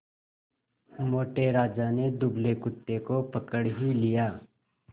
मोटे राजा ने दुबले कुत्ते को पकड़ ही लिया